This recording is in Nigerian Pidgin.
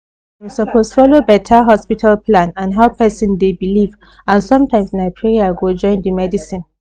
dey suppose follow better hospital plan and how person dey believe and sometimes na prayer go join the medicine